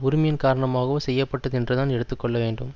உரிமையின் காரணமாகவோ செய்ய பட்டது என்றுதான் எடுத்து கொள்ள வேண்டும்